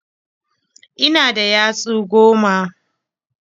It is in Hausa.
Ina da yatsu goma.